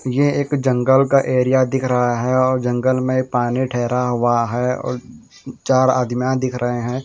ये एक जंगल का एरिया दिख रहा है और जंगल में पानी ठहरा हुआ है और चार आदमीयां दिख रहे हैं।